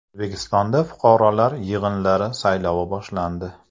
O‘zbekistonda fuqarolar yig‘inlari saylovi boshlandi .